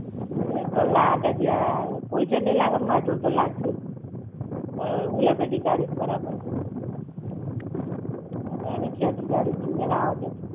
એતો લાગે જ યાર. કોઈ જોડે નઈ લાગે તો માર જોડે તો લાગશે જ. હું લપેટી કાઢીશ બરાબર. એને ખેંચી કાઢીશ, જોજે ને આવદે તું.